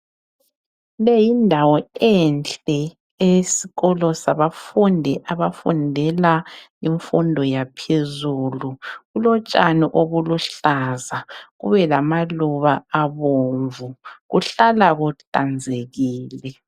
Leyi yindawo enhle eyabafundi abafundela imfundo yaphezulu. Kulotshani obuluhlaza kube lamaluba abomvu kuhlala kuhlanzekile.